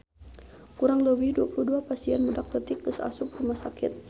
Kurang leuwih 22 pasien budak leutik geus asup rumah sakit